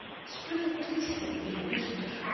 Spurðu hvort listinn yrði birtur